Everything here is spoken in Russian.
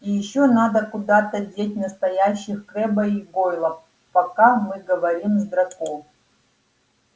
и ещё надо куда-то деть настоящих крэбба и гойла пока мы говорим с драко